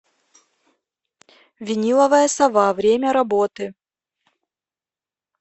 виниловая сова время работы